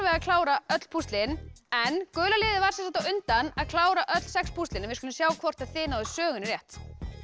að klára öll púslin en gula liðið var á undan að klára öll sex púslin við skulum sjá hvort þið náðuð sögunni rétt